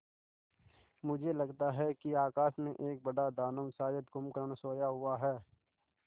मुझे लगता है कि आकाश में एक बड़ा दानव शायद कुंभकर्ण सोया हुआ है